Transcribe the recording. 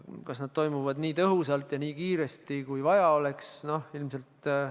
Kas nad toimuvad nii tõhusalt ja nii kiiresti, kui vaja oleks?